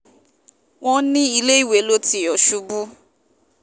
wọ́n ní iléèwé ló ti yọ̀ ṣubú